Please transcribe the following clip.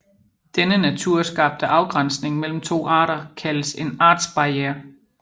Denne naturskabte afgrænsning mellem to arter kaldes en artsbarriere